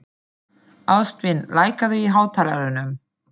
Ástvin, lækkaðu í hátalaranum.